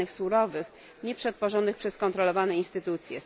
danych surowych, nieprzetworzonych przez kontrolowane instytucje.